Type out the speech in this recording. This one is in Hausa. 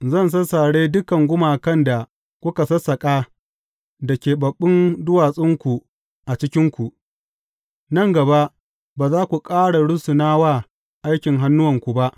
Zan sassare dukan gumakan da kuka sassaƙa da keɓaɓɓun duwatsunku a cikinku, nan gaba ba za ku ƙara rusuna wa aikin hannuwanku ba.